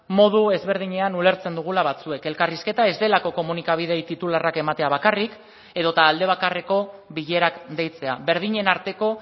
modu ezberdinean ulertzen dugula batzuek elkarrizketa ez delako komunikabideei titularrak ematea bakarrik edota alde bakarreko bilerak deitzea berdinen arteko